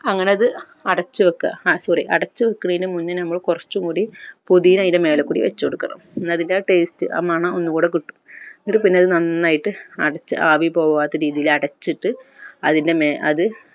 അങ്ങനെ അത് അടച്ച് വെക്ക ആ sorry അടച്ചുവെക്കുന്നതിൻ മുന്നേ നമ്മൾ കൊർച്ച് കൂടി പുതീന അയിൻ്റെ മേലെ കൂടി വെച്ചുകൊടുക്കണം എന്ന അതിൻ്റെ ആ taste ആ മണം ഒന്നുൻകുട കിട്ടും എന്നിട്ട് പിന്നെ അത് നന്നായിട്ട് അടച്ച് ആവിപോകാത്ത രീതിയിൽ അടച്ചിട്ട് അതിൻ്റെ മേ അത്